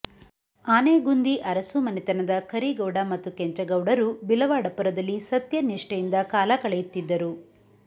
ಆನೆಗುಂದಿ ಅರಸು ಮನೆತನದ ಕರಿಗೌಡ ಮತ್ತು ಕೆಂಚಗೌಡರು ಬಿಲವಾಡಪುರದಲ್ಲಿ ಸತ್ಯ ನಿಷ್ಠೆಯಿಂದ ಕಾಲ ಕಳೆಯುತ್ತಿದ್ದರು